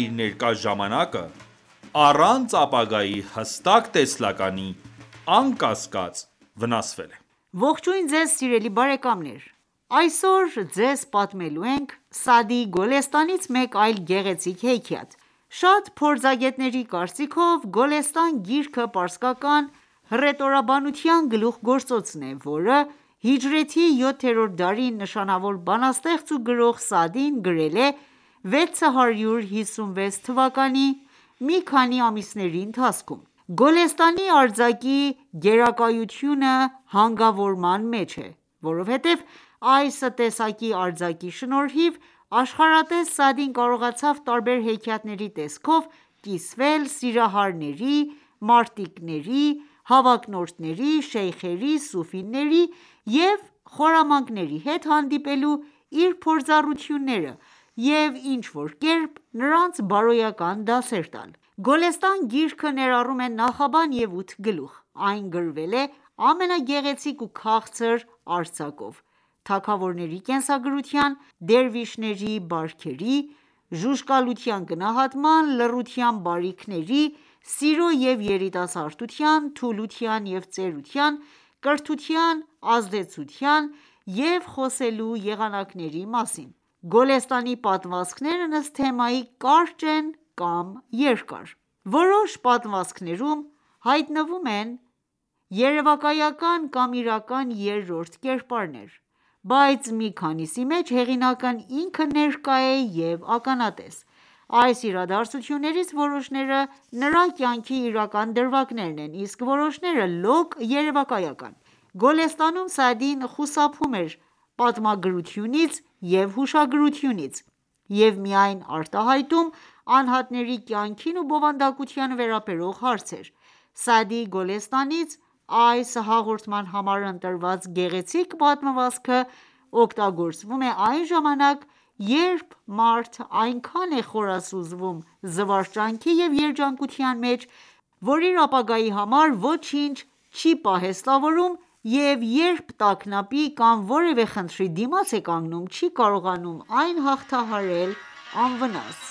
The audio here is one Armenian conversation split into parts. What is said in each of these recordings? իր ներկա ժամանակը առանց ապագայի հստակ տեսլականի, անկասկած վնասվել է: Ողջույն ձեզ սիրելի բարեկամներ: Այսօր ձեզ պատմելու ենք Սաադիի Գոլեստանից մեկ այլ գեղեցիկ հեքիաթ: Շատ փորձագետների կարծիքով, Գոլեստան գիրքը պարսկական հռետորաբանության գլուխգործոցն է, որը հիջրեթի 7-րդ դարի նշանավոր բանաստեղծ ու գրող Սաադին գրել է 656 թվականին մի քանի ամիսների ընթացքում: Գոլեստանի արձակի գերակայությունը հանգավորման մեջ է, որովհետև այս տեսակի արձակի շնորհիվ, աշխարհատես Սաադին կարողացավ տարբեր հեքիաթների տեսքով կիսվել սիրահարների, մարտիկների, հավակնորդների, շեյխերի, սուֆիների և խորամանկների հետ հանդիպելու իր փորձառությունները և ինչ-որ կերպ նրանց բարոյական դասեր տալ: Գոլեստան գիրքը ներառում է նախաբան և ութ գլուխ: Այն գրվել է ամենագեղեցիկ ու քաղցր արձակով՝ թագավորների կենսագրության, դերվիշների բարքերի, ժուժկալության գնահատման, լռության բարիքների, սիրո և երիտասարդության, թուլության և ծերության, կրթության ազդեցության և խոսելու եղանակների մասին: Գոլեստանի պատմվածքներն ըստ թեմայի, կարճ են կամ երկար։ Որոշ պատմվածքներում հայտնվում են երևակայական կամ իրական երրորդ կերպարներ, բայց մի քանիսի մեջ հեղինակն ինքը ներկա է և ականատես: Այս իրադարձություններից որոշները նրա կյանքի իրական դրվագներն են, իսկ որոշները լոկ երևակայական: Գոլեստանում Սաադին խուսափում էր պատմագրությունից և հուշագրությունից և միայն արտահայտում անհատների կյանքին ու բնավորությանը վերաբերող հարցեր։ Սաադիի Գոլեստանից այս հաղորդման համար ընտրված գեղեցիկ պատմվածքը օգտագործվում է այն ժամանակ, երբ մարդ այնքան է խորասուզվում զվարճանքի և երջանկության մեջ, որ իր ապագայի համար ոչինչ չի պահեստավորում և երբ տագնապի կամ որևե խնդրի դիմաց է կանգնում, չի կարողանում այն հաղթահարել անվնաս: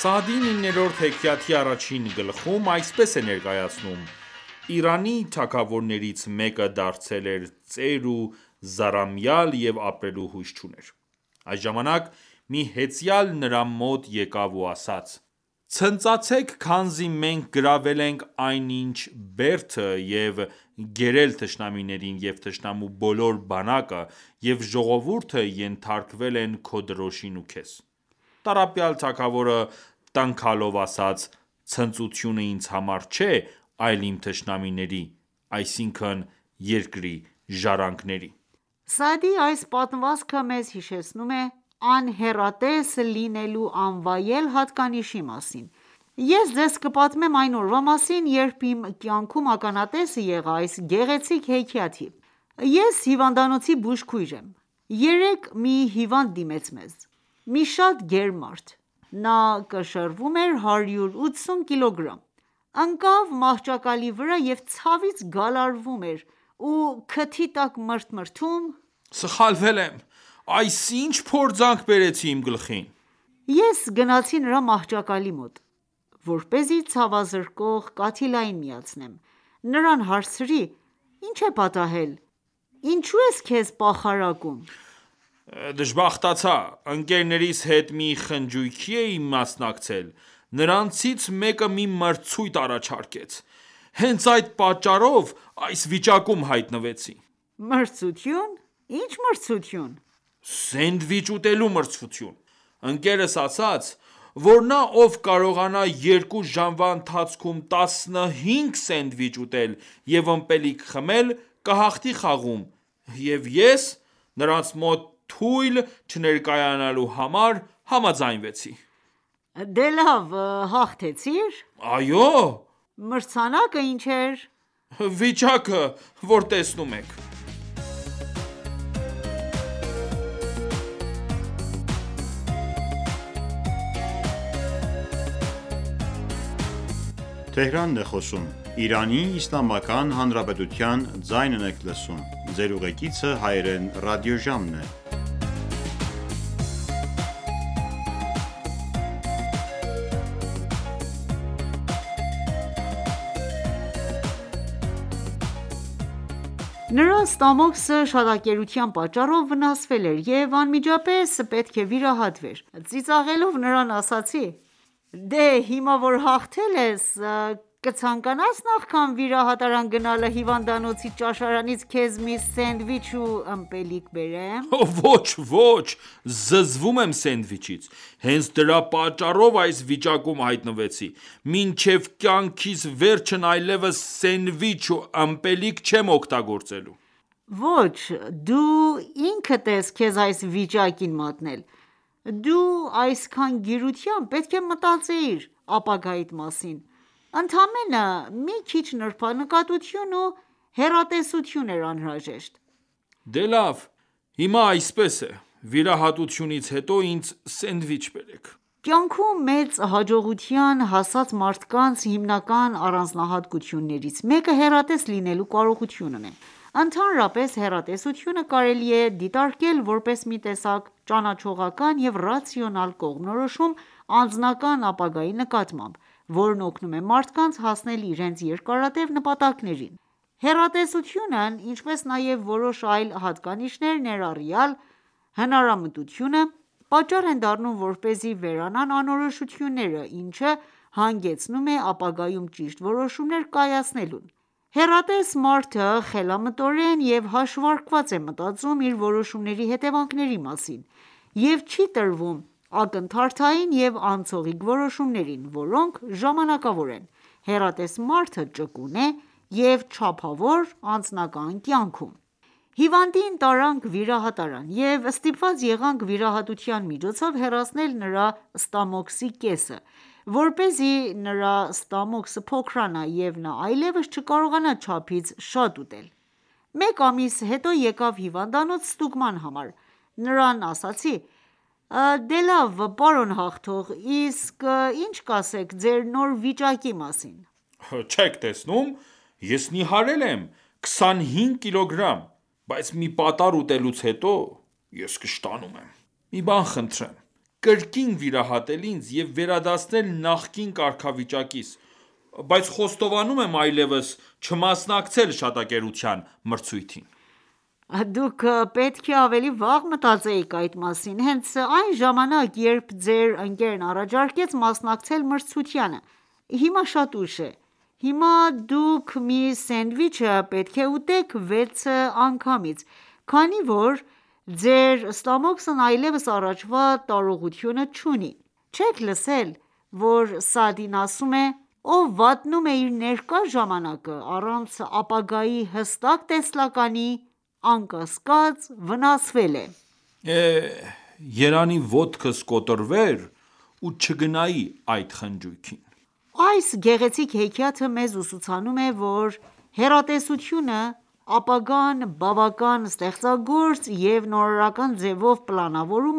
Սաադին իներորդ հեքիաթի առաջին գլխում այսպես է ներկայացնում.«Իրանի թագավորներից մեկը դարձել էր ծեր ու զառամյալ, և ապրելու հույս չուներ: Այս ժամանակ մի հեծյալ նրա մոտ եկավ ու ասաց. «Ցնծացեք քանզի մենք գրավել ենք այնինչ բերդը և գերել թշնամիներին և թշնամու բոլոր բանակը և ժողովուրդը ենթարկվել են քո դրոշին ու քեզ»: Տառապյալ թագավորը տնքալով ասաց.«Ցնծությունը ինձ համար չէ այլ իմ թշնամիների, այսինքն՝ երկրի ժառանգների»: -Սաադիի այս պատմվածքը մեզ հիշեցնում է անհեռատես լինելու անվայել հատկանիշի մասին: Ես ձեզ կպատմեմ այն օրվա մասին, երբ իմ կյանքում ականատեսը եղա այս գեղեցիկ հեքիաթի: Ես հիվանդանոցի բուժքույր եմ: Երեկ մի հիվանդ դիմեց մեզ: Մի շատ գեր մարդ: Նա կշռում էր 180 կիլոգրամ: Ընկավ մահճակալի վրա և ցավից գալարվում էր ու քթի տակ մրթմրթում. - Սխալվել եմ, այս ի՞նչ փորձանք բերեցի իմ գլխին: Ես գնացի նրա մահճակալի մոտ, որպեսզի ցավազրկող կաթիլային միացնեմ: Նրան հարցրի. -Ի՞նչ է պատահել:Ինչո՞ւ ես քեզ պախարակում: -Դժբախտացա: Ընկերներիս հետ մի խնճույքի էի մասնակցել: Նրանցից մեկը մի մրցույթ առաջարկեց: Հենց այդ պատճառով այս վիճակում հայտնվեցի: -Մրցություն: Ի՞նչ մրցություն -Սենդվիչ ուտելու մրցություն. Ընկերս ասաց, որ նա ով կարողանա երկու ժամվա ընթացքում 15 սենդվիչ ուտել և ըմպելիք խմել կահղթի խաղում և ես, նրանց մոտ թույլ չներկայանալու համար, համաձայնվեցի: -Դե լավ...,Հաղթեցի՞ր: -Այո... -Մրցանակը ի՞նչ էր -Վիճակը, որ տեսնում եք: Նրա ստամոքսը շատակերության պատճառով վնասվել էր և անմիջապես պետք է վիրահատվեր: Ծիծաղելով նրան ասացի -Դե հիմա որ հաղթել ես, կցանկանա՞ս նախքան վիրահատարան գնալը հիվանդանոցի ճաշարանից քեզ մի սենդվիչ ու ըմպելիք բերեմ: -Ոչ...ոչ...Զզվում եմ սենդվիչից:Հենց դրա պատճառով այս վիճակում հայտնվեցի: Մինչև կյանքիս վերջն այլևս սենդվիչ ու ըմպելիք չեմ օգտագործելու: -Ոչ...Դու ինքդ ես քեզ այս վիճակին մատնել: Դու, այսքան գիրությամբ, պետք է մտածեիր ապագայիդ մասին: Ընդամենը մի քիչ նրբանկատություն ու հեռատեսություն էր անհրաժեշտ: -Դե լավ, հիմա ր այսպես է, վիրահատությունից հետո ինձ սենդվիչ բերեք: Կյանքում մեծ հաջողության հասած մարդկանց հիմնական առանձնահատկություններից մեկը՝ հեռատես լինելու կարողությունն է: Ընդհանրապես, հեռատեսությունը կարելի է դիտարկել որպես մի տեսակ ճանաչողական և ռացիոնալ կողմնորոշում անձնական ապագայի նկատմամբ, որն օգնում է մարդկանց հասնել իրենց երկարատեւ նպատակներին: Հեռատեսությունն ինչպես նաև որոշ այլ հատկանիշներ, ներառյալ՝ հնարամտությունը, պատճառ են դառնում, որպեսզի վերանան անորոշությունները, ինչը հանգեցնում է ապագայում ճիշտ որոշումներ կայացման: Հեռատես մարդը խելամտորեն և հաշվարկված է մտածում իր որոշումների հետևանքների մասին և չի տրվում ակնթարթային և անցողիկ որոշումներին, որոնք ժամանակավոր են: Հեռատես մարդը ճկուն է և չափավոր՝ անձնական կյանքում: Հիվանդին տարանք վիրահատարան և ստիպված եղանք վիրահատության միջոցով հեռացնել նրա ստամոքսի կեսը, որպեսզի նրա ստամոքսը փոքրանա, և նա այլեւս չկարողանա չափից շատ ուտել։ Մեկ ամիս հետո եկավ հիվանդանոց ստուգման համար, նրան ասացի. -Դե լավ պարոն Հաղթող։ Իսկ ի՞նչ կասեք նոր իրավիճակի մասին: -Չե՞ք տեսնում! Ես նիհարել եմ քսանհինգ կիլոգրամ: Բայց մի պատառ ուտելուց հետո, ես կշտանում եմ: Խնդրում եմ կրկին վիրահատել ինձ և վերադարձնել նախկին կարգավիճակիս: Խոստանում եմ այլեւս չմասնակցել շատակերության մրցույթին։ -(Ծիծաղելով) Դուք պետք է ավելի վաղ մտածեիք այդ մասին:Հենց այն ժամանակ, երբ ձեր ընկերն առաջարկեց մասնակցել մրցությունը: Հիմա շատ ուշ է: Հիմա դուք մի սենդվիչը պետք է ուտեք վեցը անգամից, քանի որ ձեչ ստամոքսն այլևս առաջվա տարողությունը չունի: Չե՞Ք լսել, որ Սաադին ասում է.«Ով վատնում է իր ներկա ժամանակը առանց ապագայի հստակ տեսլականի, անկասկած վնասվել է»: -Երանի ոտքս կոտրվեր ու չգնայի այդ խնջույքին: Այս գեղեցիկ հեքիաթը մեզ ուսուցանում է, որ հեռատեսությունը, ապագան բավական ստեղծագործ և նորարարական ձևով պլանավորելու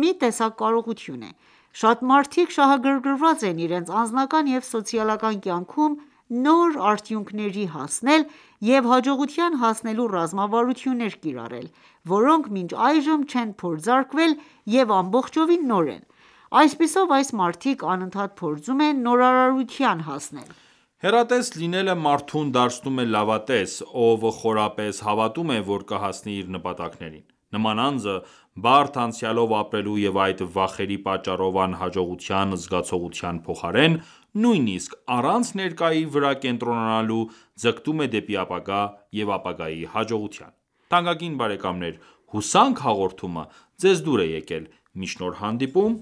մի տեսակ կարողություն է: Շատ մարդիկ շահագրգռված են իրենց անձնական և սոցիալական կյանքում նոր արդյունքների հասնել և հաջողության հասնելու ռազմավարություններ կիրառել, որոնք մինչ այժմ չեն փորձարկվել և ամբողջովին նոր են: Այսպիսով, այս մարդիկ անընդհատ փորձում են նորարարության հասնել: Հեռատես լինելը մարդուն դարձնում է լավատես, ով խորապես հավատում է, որ կհասնի իր նպատակներին: Նման անձը, բարդ անցյալով ապրելու և այդ վախերի պատճառով անհաջողության զգացողության փոխարեն, նույնիսկ առանց ներկայի վրա կենտրոնանալու, ձգտում է դեպի ապագա և ապագաի հաջողության: Թանկագին բարեկամներ հուսանք հաղորդումը ձեզ դուր է եկել: Մինչ նոր հանդիպում,